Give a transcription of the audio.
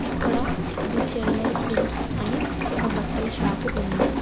ఇక్కడ the Chennai silks అని ఒక బట్టల షాపు ఉంది.